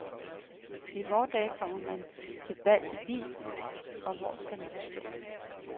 Og i vore dage kommer man til bal i bil, og hvor skal den stå?